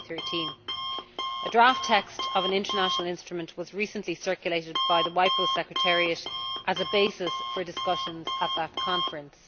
2013. A draft text of an international instrument was recently circulated by the WIPO Secretariat as a basis for discussions at that conference.